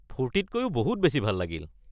ফূৰ্তিতকৈও বহুত বেছি ভাল লাগিল!